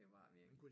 Det var det virkelig